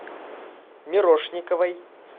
мирошниковой